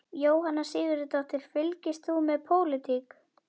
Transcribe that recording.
Jóhanna Sigurðardóttir: Fylgist þú með pólitík?